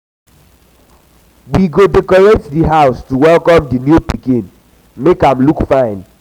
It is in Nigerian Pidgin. we go decorate di house to welcome di new pikin make am look fine.